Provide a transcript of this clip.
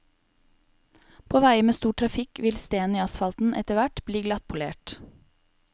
På veier med stor trafikk vil stenen i asfalten etterhvert bli glattpolert.